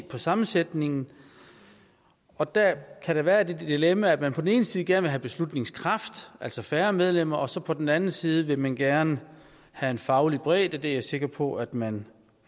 på sammensætningen og der kan der være det dilemma at man på den ene side gerne vil have beslutningskraft altså færre medlemmer og så på den anden side vil man gerne have en faglig bredde det er jeg sikker på at man